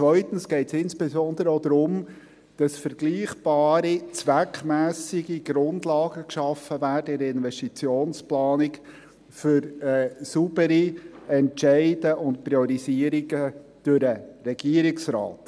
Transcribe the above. Zweitens geht es insbesondere auch darum, dass in der Investitionsplanung vergleichbare, zweckmässige Grundlagen geschaffen werden für saubere Entscheide und Priorisierungen durch den Regierungsrat.